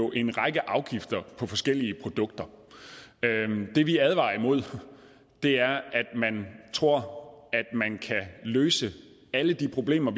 en række afgifter på forskellige produkter det vi advarer imod er at man tror at man kan løse alle de problemer